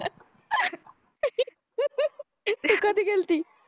गेल्ती